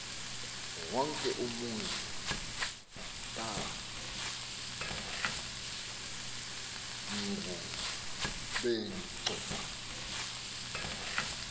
wonke umzi kangubengcu